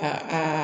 Aa aa